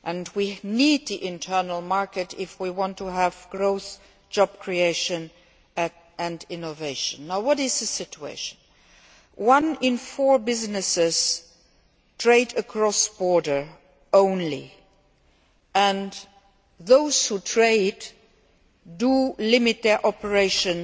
We need the Internal Market if we want to have growth, job creation and innovation. What is the current situation? Only one in four businesses trade across borders and those who trade limit their operations